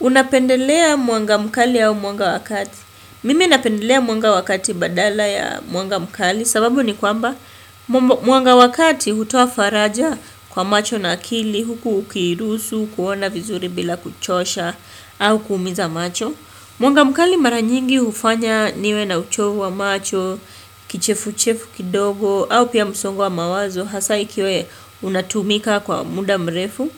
Unapendelea mwanga mkali au mwanga wakati. Mimi napendelea mwanga wa kati badala ya mwanga mkali sababu ni kwamba mwanga wakati hutoa faraja kwa macho na akili, huku ukiruhusu, kuona vizuri bila kuchosha au kuumiza macho. Mwanga mkali mara nyingi hufanya niwe na uchovu wa macho, kichefu chefu kidogo, au pia msongo wa mawazo hasa ikiwa unatumika kwa muda mrefu.